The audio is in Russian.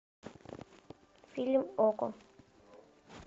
фильм окко